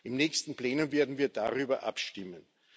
Im nächsten Plenum werden wir darüber abstimmen.